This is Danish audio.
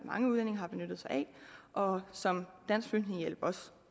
mange udlændinge har benyttet sig af og som dansk flygtningehjælp også